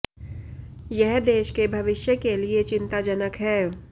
यह देश के भविष्य के लिए चिंतानजक है